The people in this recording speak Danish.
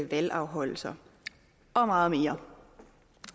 valgafholdelser og meget mere